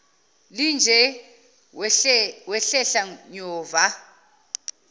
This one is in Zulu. linje wahlehla nyova